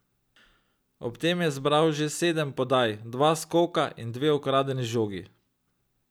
Ob tem je zbral še sedem podaj, dva skoka in dve ukradeni žogi.